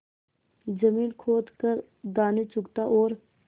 जमीन खोद कर दाने चुगता और